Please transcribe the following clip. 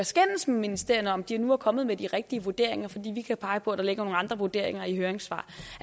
skændes med ministerierne om de nu er kommet med de rigtige vurderinger fordi vi kan pege på at der ligger nogle andre vurderinger i høringssvar